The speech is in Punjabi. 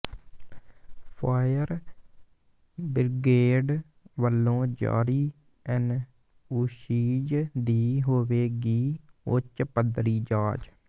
ਫਾਇਰ ਬ੍ਰਿਗੇਡ ਵੱਲੋਂ ਜਾਰੀ ਐਨਓਸੀਜ਼ ਦੀ ਹੋਵੇਗੀ ਉੱਚ ਪੱਧਰੀ ਜਾਂਚ